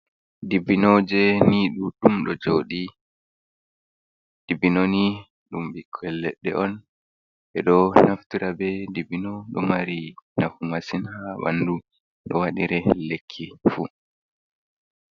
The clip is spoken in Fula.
Dibbinoje ni ɗuɗɗum ɗo joɗi, dibbino ni ɗum ɓikkoi leɗɗe on ɓeɗo naftera be dibbino ɗomari nafu massin ha ɓandu ɗo waɗire lekki fu.